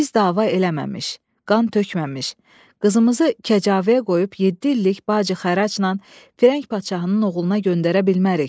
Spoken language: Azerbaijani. Biz dava eləməmiş, qan tökməmiş, qızımızı kəcavəyə qoyub yeddi illik bacı-xəracla Firəng padşahının oğluna göndərə bilmərik.